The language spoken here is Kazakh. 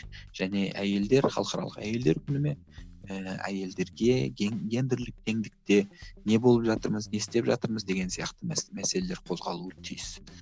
және әйелдер халықаралық әйелдер күні ме ііі әйелдерге гендірлік теңдікте не болып жатырмыз не істеп жатырмыз деген сияқты мәселелер қозғалуы тиіс